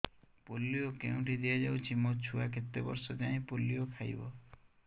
polio କେଉଁଠି ଦିଆଯାଉଛି ମୋ ଛୁଆ କେତେ ବର୍ଷ ଯାଏଁ ପୋଲିଓ ଖାଇବ